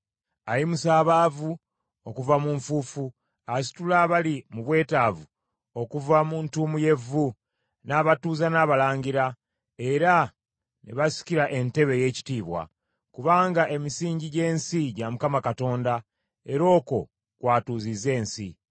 Ayimusa abaavu okuva mu nfuufu; asitula abali mu bwetaavu okuva mu ntuumu y’evvu; n’abatuuza n’abalangira, era ne basikira entebe ey’ekitiibwa. Kubanga emisingi gy’ensi gya Mukama Katonda, era okwo kw’atuuzizza ensi.